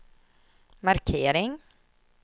markering